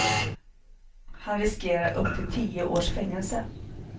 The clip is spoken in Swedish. Han riskerar upp till tio års fängelse.